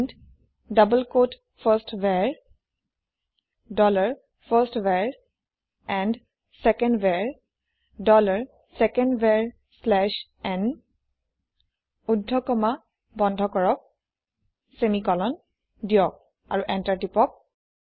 print double কোঁৱতে firstVar dollar first var and secondVar dollar second var slash n ঊৰ্ধ comma বন্ধ কৰক ছেমিকলন দিয়ক আৰু এন্টাৰ প্ৰেছ কৰক